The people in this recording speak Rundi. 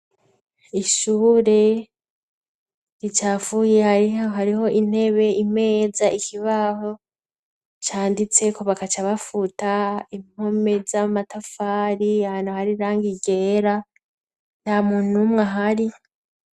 ishure ricafuye hariho hariho intebe imeza ikibaho canditse ko bakaca bafuta impome z'amatafari hantu hari irangi ryera nta muntu umwe ahari